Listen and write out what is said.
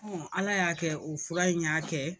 Ala y'a kɛ o fura in y'a kɛ